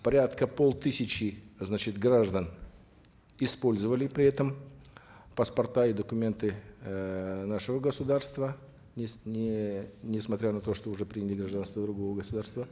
порядка полтысячи значит граждан использовали при этом паспорта и документы эээ нашего государства не несмотря на то что уже приняли гражданство другого государства